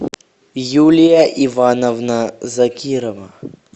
юлия ивановна закирова